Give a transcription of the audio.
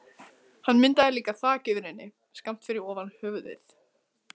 Hann myndaði líka þak yfir henni, skammt fyrir ofan höfuðið.